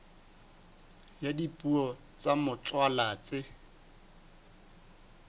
ya dipuo tsa motswalla tse